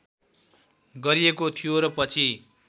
गरिएको थियो र पछि